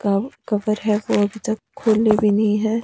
और काव कवर है वो अभी तक खोली भी नहीं है।